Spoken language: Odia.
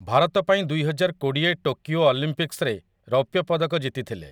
ଭାରତ ପାଇଁ ଦୁଇହଜାରକୋଡ଼ିଏ ଟୋକିଓ ଅଲିମ୍ପିକ୍ସରେ ରୌପ୍ୟ ପଦକ ଜିତିଥିଲେ ।